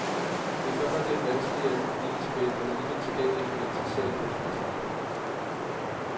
Den er godt nok lidt vanskeligere end den lille tabel, men alligevel tilgængelig for en interesseret kunstbetragter.